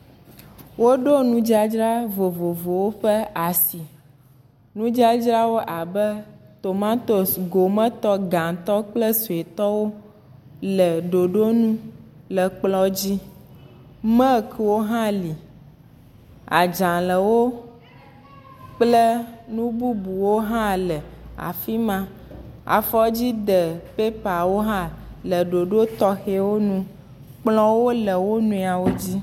Woɖo nudzadra vovovowo ƒe asi, nudzadzra abe tomatosi gometɔ gatɔ kple suetɔ le ɖoɖo nu le kplɔ dzi, mekiwo hã li, adzalɛwo, kple nu bubuwo hã le afi ma, afɔdzi de pepawo hã le ɖoɖo tɔxɛwo nu kplɔwo le wo nɔewo dzi.